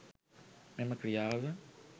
මෙම ක්‍රියාව